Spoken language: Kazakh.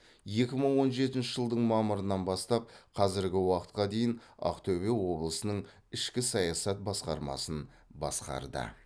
екі мың он жетінші жылдың мамырынан бастап қазіргі уақытқа дейін ақтөбе облысының ішкі саясат басқармасын басқарды